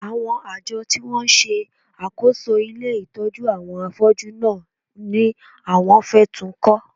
Àwọn àjọ tí wọ́n ń ṣe àkóso ilé ìtọ́jú àwọn afọ́jú náà ni àwọn fẹ́ tún ń kọ́